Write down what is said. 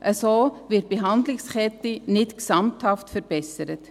So wird die Behandlungskette nicht gesamthaft verbessert.